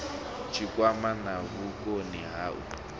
tshikwama na vhukoni ha u